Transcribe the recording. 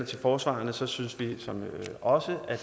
til forsvarerne synes vi også at